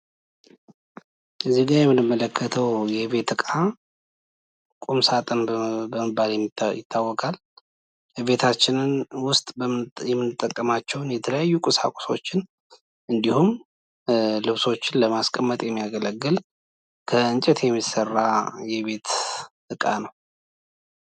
እዚህ ጋር የምንመለከተው የቤት እቃ ቁም ሳጥን በመባል ይታወቃል። ቤታችን ውስጥ የምንጠቀማቸውን የተለያዩ ቁሳቁሶችን እንዲሁም ልብሶችን ለማስቀመጥ የሚያገለግል ከእንጨት የሚሰራ የቤት እቃ ነው።